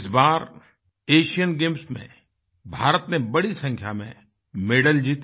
इस बार Asian Games में भारत ने बड़ी संख्या में मेडल जीते